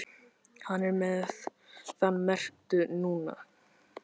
Hann er með þann merkta núna.